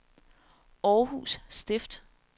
Århus Stift